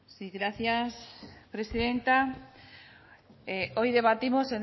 sí gracias presidenta hoy debatimos